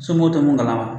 Somɔgɔw tɛ mun kalama